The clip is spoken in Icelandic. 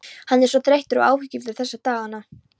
Hann er svo þreyttur og áhyggjufullur þessa dagana.